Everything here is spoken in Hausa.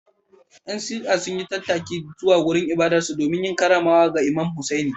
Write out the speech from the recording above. ‘Yan Shi’a sun yi tattaki zuwa wurin ibadarsu domin yin karramawa ga Imam Hussaini.